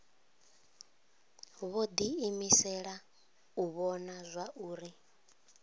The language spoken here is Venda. vho diimisela u vhona zwauri